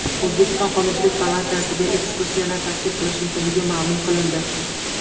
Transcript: O‘zbekiston Qonunchilik palatasiga ekskursiyalar tashkil qilish mumkinligi ma’lum qilindi.